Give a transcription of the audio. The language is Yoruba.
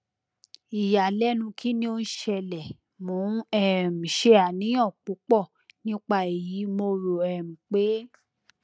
iyalẹnu kini o n sele mo n um ṣe aniyan pupọ nipa eyi mo ro um pe